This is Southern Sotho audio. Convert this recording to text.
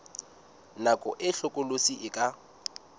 nako e hlokolosi e ka